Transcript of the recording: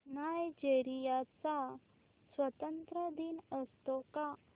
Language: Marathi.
नायजेरिया चा स्वातंत्र्य दिन असतो का